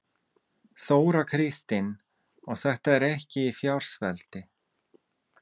Þóra Kristín: Og þetta er ekki í fjársvelti?